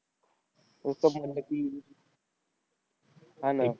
म्हणलं की, हा ना.